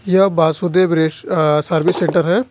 यह Vasudev service centre है।